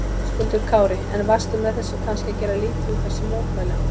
Höskuldur Kári: En varstu með þessu kannski að gera lítið úr þessum mótmælum?